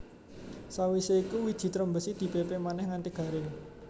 Sawisé iku wiji trembesi di pépé manèh nganti garing